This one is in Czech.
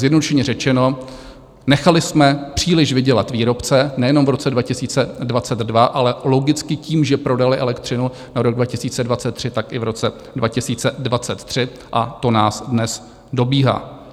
Zjednodušeně řečeno, nechali jsme příliš vydělat výrobce nejenom v roce 2022, ale logicky tím, že prodali elektřinu na rok 2023, tak i v roce 2023, a to nás dnes dobíhá.